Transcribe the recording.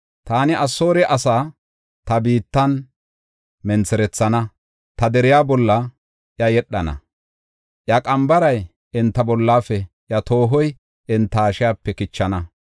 Taani Asoore asaa ta biittan mentherethana; ta deriya bolla iya yedhana. Iya qambaray enta bollafe, iya toohoy enta hashiyape kichana” yaagis.